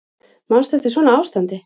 Manstu eftir svona ástandi?